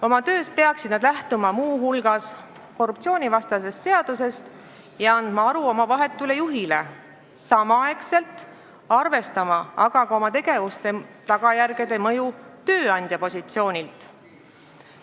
Oma töös peaksid nad lähtuma muu hulgas korruptsioonivastasest seadusest ja andma aru oma vahetule juhile, samaaegselt arvestama aga ka oma tegevuse tagajärgede mõju tööandja positsioonilt.